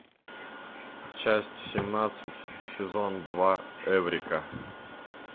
часть семнадцать сезон два эврика